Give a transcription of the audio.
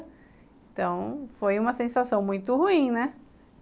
Então, foi uma sensação muito ruim, né?